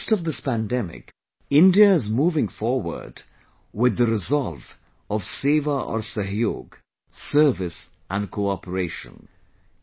In the midst of this pandemic, India is moving forward with the resolve of 'सेवा और सहयोग' 'service and cooperation'